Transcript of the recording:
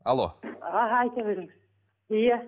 алло аха айта беріңіз иә